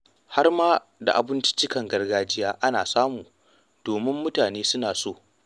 Har ma da abinciccikan gargajiya ana samu domin mutane suna so.